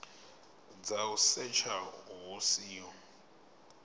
dza u setsha hu siho